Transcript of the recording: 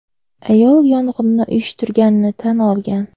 Ayol yong‘inni uyushtirganini tan olgan.